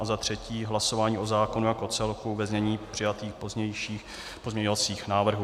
A za třetí hlasování o zákonu jako celku ve znění přijatých pozměňovacích návrhů.